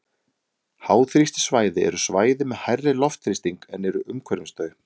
háþrýstisvæði eru svæði með hærri loftþrýsting en er umhverfis þau